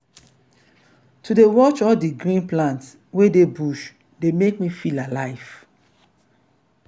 to dey watch all di green plants wey dey bush dey make me feel alive.